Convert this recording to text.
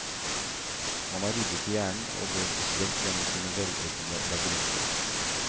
Man har ryddet i hjernen og går opprømt gjennom sine velordnede labyrinter.